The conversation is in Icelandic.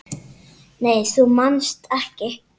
Nei þú manst ekki.